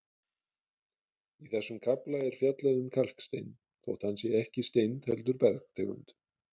Í þessum kafla er fjallað um kalkstein þótt hann sé ekki steind heldur bergtegund.